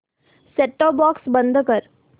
set top box बंद कर